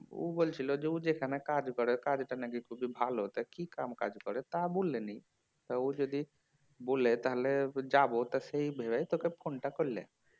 ও বলছিল ও যেখানে কাজ করে কাজটা নাকি খুবই ভালো তা কি কাম কাজ করে তা বললো নি তা ও যদি বলে তাহলে যাবো তা সেই ভেবে তোকে ফোনটা করলাম